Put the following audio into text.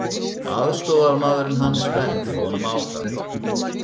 Aðstoðarmaðurinn hans benti honum á það.